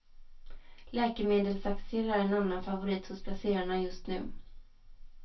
Läkemedelsaktier är en annan favorit hos placerarna just nu.